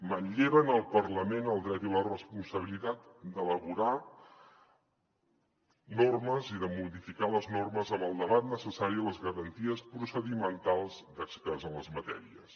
manlleven al parlament el dret i la responsabilitat d’elaborar normes i de modificar les normes amb el debat necessari i les garanties procedimentals d’experts en les matèries